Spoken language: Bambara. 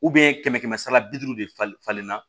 kɛmɛ kɛmɛ sara bi duuru de falen falen na